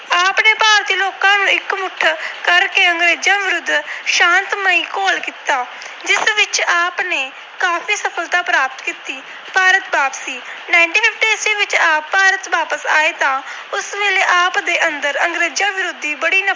ਕਰਕੇ ਅੰਗਰੇਜਾਂ ਵਿਰੁੱਧ ਸ਼ਾਤਮਈ ਘੋਲ ਕੀਤਾ l ਜਿਸ ਵਿੱਚ ਆਪ ਨੇ ਕਾਫੀ ਸਫਲਤਾ ਪ੍ਰਾਪਤ ਕੀਤੀ। ਭਾਰਤ ਵਾਪਸੀ - ਵਿੱਚ ਆਪ ਭਾਰਤ ਵਾਪਸ ਆਏ ਤਾਂ ਉਸ ਵੇਲੇ ਆਪ ਦੇ ਅੰਦਰ ਅੰਗਰੇਜਾਂ ਵਿਰੁੱਧ